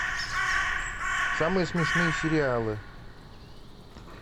самые смешные сериалы